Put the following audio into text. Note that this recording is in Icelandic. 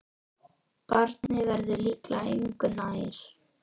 Barnið verður líklega engu nær.